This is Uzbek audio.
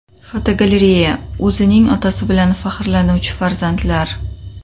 Fotogalereya: O‘zining otasi bilan faxrlanuvchi farzandlar.